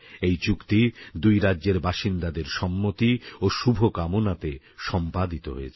এই চুক্তি দুই রাজ্যের বাসিন্দাদের সম্মতি ও শুভকামনাতে সম্পাদিত হয়েছে